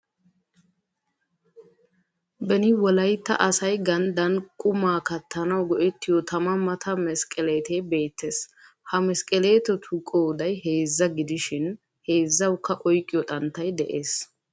Beni wolaytta asay gandan qumma kattanawu go'ettiyo tama mata mesqqeleetee beettees. Ha meskeleetettu qooday heezza gidishiin heezzawukka oyqqiyo xanttay dees.